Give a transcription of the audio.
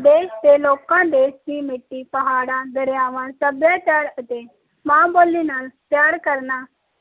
ਦੇਸ਼ ਦੇ ਲੋਕ ਦੇ ਮਿੱਟੀ ਪਹਾੜਾਂ ਦਰਿਆਵਾਂ ਸਭਿਯਾਚਾਰਾ ਏਟ ਮੈ ਬੋਲੀ ਨਾਲ ਪਿਆਰ ਕਰਨਾ